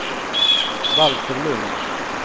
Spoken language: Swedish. Valter Lundh